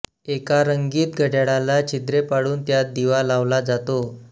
एका रंगीत घड्याला छिद्रे पाडून त्यात दिवा लावला जातो